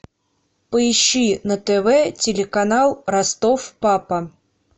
поищи на тв телеканал ростов папа